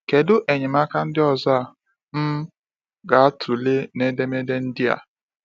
Kedụ enyemaka ndị ọzọ a um ga-atụle n’edemede ndịa?